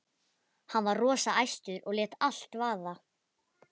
Hann var rosa æstur og lét allt vaða.